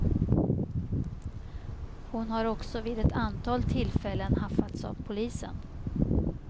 Hon har också vid ett antal tillfällen haffats av polisen.